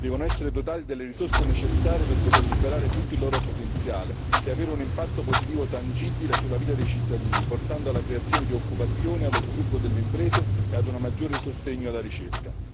Devono essere dotati delle risorse necessarie per poter liberare tutto il loro potenziale e avere un impatto positivo tangibile sulla vita dei cittadini, portando alla creazione di occupazione, allo sviluppo delle imprese e a un maggiore sostegno alla ricerca.